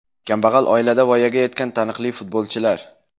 Kambag‘al oilada voyaga yetgan taniqli futbolchilar.